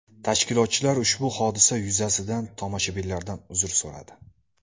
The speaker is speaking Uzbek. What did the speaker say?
Tashkilotchilar ushbu hodisa yuzasidan tomoshabinlardan uzr so‘radi.